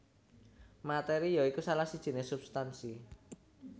Materi ya iku salah sijiné substansi